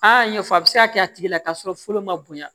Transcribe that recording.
Aa ɲɛfɔ a bɛ se ka kɛ a tigi la k'a sɔrɔ fɔlɔ ma bonya